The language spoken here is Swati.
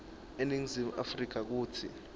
eningizimu afrika kutsi